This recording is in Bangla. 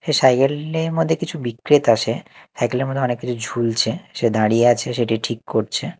এ সাইকেল -এর মদ্যে কিছু আসে সাইকেল -এর মদ্যে অনেক কিছু ঝুলছে সে দাঁড়িয়ে আছে সেটি ঠিক করছে।